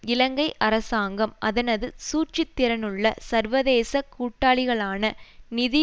இலங்கை அரசாங்கம் அதனது சூழ்ச்சித்திறனுள்ள சர்வதேச கூட்டாளிகளான நிதி